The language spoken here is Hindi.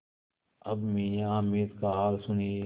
अब मियाँ हामिद का हाल सुनिए